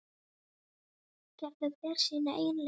Gerður fer sínar eigin leiðir.